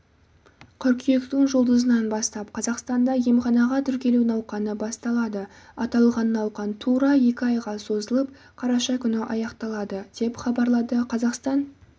қыркүйектің жұлдызынан бастап қазақстанда емханаға тіркелу науқаны басталады аталған науқан тура екі айға созылып қараша күні аяқталады деп хабарлады қазақстан